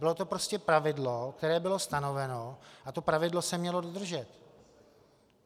Bylo to prostě pravidlo, které bylo stanoveno, a to pravidlo se mělo dodržet.